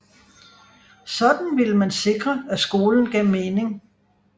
Sådan ville man sikre at skolen gav mening